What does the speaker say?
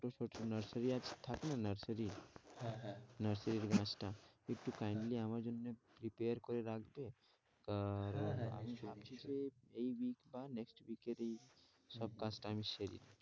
ছোটো ছোটো nursery আছ থাকে না nursery হ্যাঁ হ্যাঁ nursery গাছটা একটু আমার জন্যে prepare করে রাখবে? কা আহ রণ আমি ভাবছি যে এই week বা next week এর ই সব কাজটা আমি সেরে,